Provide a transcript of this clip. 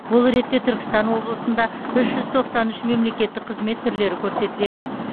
бұл ретте түркістан облысында үш жүз тоқсан үш мемлекеттік қызмет түрлері көрсетіледі